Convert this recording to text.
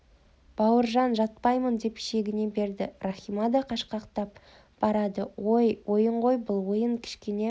бауыржан жатпаймын деп шегіне берді рахима да қашқақтап барады ой ойын ғой бұл ойын кішкене